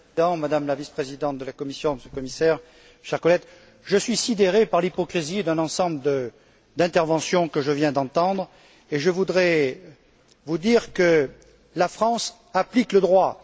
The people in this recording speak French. Madame la Vice présidente de la Commission, Monsieur le Commissaire, chers collègues, je suis sidéré par l'hypocrisie d'un ensemble d'interventions que je viens d'entendre et je voudrais vous dire que la France applique le droit.